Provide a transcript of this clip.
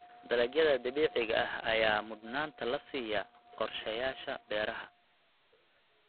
Dalagyada dabiiciga ah ayaa mudnaanta la siiyaa qorshayaasha beeraha.